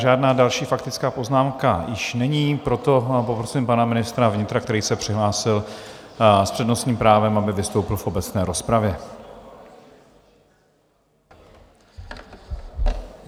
Žádná další faktická poznámka již není, proto poprosím pana ministra vnitra, který se přihlásil s přednostním právem, aby vystoupil v obecné rozpravě.